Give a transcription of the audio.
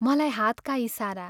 मलाई हातका इशारा....